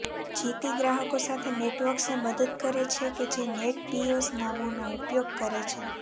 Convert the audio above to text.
જીતી ગ્રાહકો સાથે નેટવર્ક્સને મદદ કરે છે કે જે નેટબિયોઝ નામોનો ઉપયોગ કરે છે